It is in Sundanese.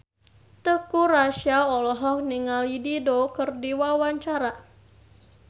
Teuku Rassya olohok ningali Dido keur diwawancara